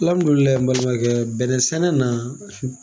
Alamudulilahi n balimabakɛ bɛnɛ sɛnɛ na